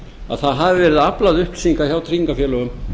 að það hafi verið aflað upplýsinga hjá tryggingafélögum